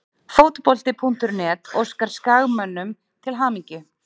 Fótbolti.net óskar Skagamönnum til hamingju.